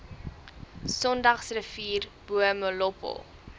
sondagsrivier bo molopo